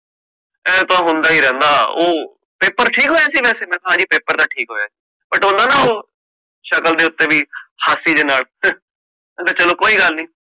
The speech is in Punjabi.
ਊ ਤਾ ਹੁੰਦਾ ਹੀ ਰਹਿੰਦਾ, paper ਠੀਕ ਹੋਇਆ ਸੀ ਵਾਸੇ? ਮੈਂ ਕਹ ਹਾਂਜੀ paper ਤਾ ਠੀਕ ਹੋਇਆ ਸੀ, but ਹੁੰਦਾ ਨਾ ਉਹ, ਸ਼ਕਲ ਦੇ ਉਤੇ ਹਾਸੀ ਦੇ ਨਾਲ, ਕਹਿੰਦਾ ਚਲੋ ਕੋਈ ਗੱਲ ਨੀ